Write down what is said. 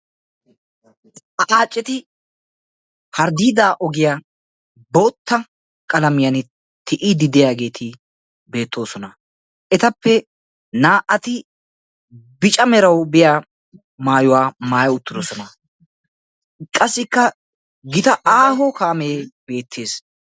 Xaaceti harddiida ogiya bootta qalamiyaan tiyyidi diyaageeti beetroosona. Etappe naa"ati bicca meraw biya maayyuwa maatti uttidoosona. Qassikka gita aaho kaame beettees.